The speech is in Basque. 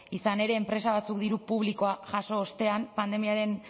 izan ere enpresa batzuk diru publikoa jaso ostean pandemiaren